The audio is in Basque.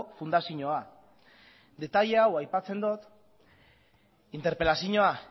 fundazioa detaile hau aipatzen dut interpelazioa